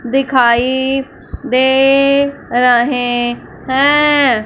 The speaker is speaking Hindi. दिखाइ दे रहे हैं।